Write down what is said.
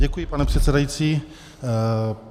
Děkuji, pane předsedající.